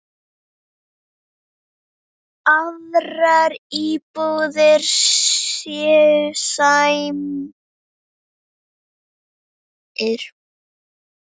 Aðrar íbúðir séu smærri.